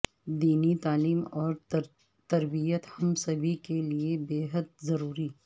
دینی تعلیم اور تربیت ہم سبھی کے لئے بیحد ضروری